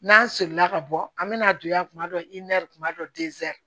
N'an sila ka bɔ an mɛna don yan kuma dɔ kuma dɔ